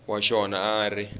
wa xona a a ri